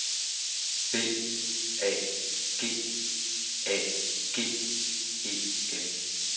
B A G A G E N